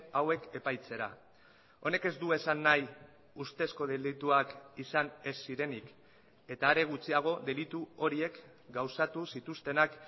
hauek epaitzera honek ez du esan nahi ustezko delituak izan ez zirenik eta are gutxiago delitu horiek gauzatu zituztenak